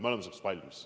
Me oleme selleks valmis.